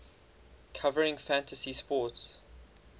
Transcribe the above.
covering fantasy sports